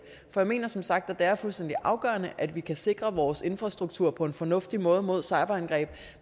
jeg mener som sagt at det er fuldstændig afgørende at vi kan sikre vores infrastruktur på en fornuftig måde mod cyberangreb